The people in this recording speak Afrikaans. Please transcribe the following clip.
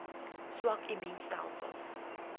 swak immuun stelsels